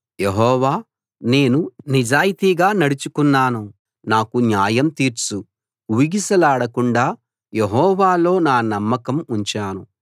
యెహోవా నేను నిజాయితీగా నడుచుకున్నాను నాకు న్యాయం తీర్చు ఊగిసలాడకుండా యెహోవాలో నా నమ్మకం ఉంచాను